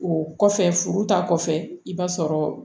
O kɔfɛ furu ta kɔfɛ i b'a sɔrɔ